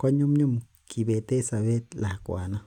konyumnyum kibeten sobet lakwanon